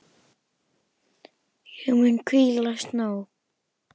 Ég mun hvílast nóg.